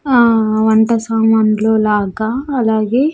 ఆ వంట సామాన్లు లాగా అలాగే --